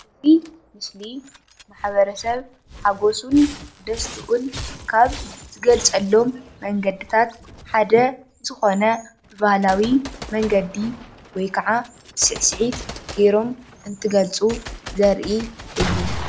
እዚ ምስሊ ማሕበረሰብ ሓጎሱን ደስትኡን ካብ ዝገልፆሎም መንገድታት ሓደ ዝኮነ ባህላዊ መንገዲ ወይ ከዓ ስዕሲዒት ገይሮም እንትገልፁ ዘርኢ እዩ።